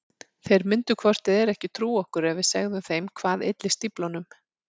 Þeir myndu hvort eð er ekki trúa okkur ef við segðum þeim hvað ylli stíflunum.